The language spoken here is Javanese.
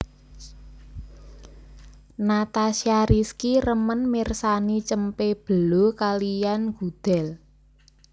Natasha Rizky remen mirsani cempe belo kaliyan gudel